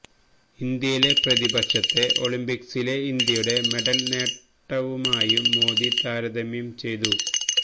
ഇന്ത്യയിലെ പ്രതിപക്ഷത്തെ ഒളിമ്പിക്സിലെ ഇന്ത്യയുടെ മെഡല് നേട്ടവുമായും മോദി താരതമ്യം ചെയ്തു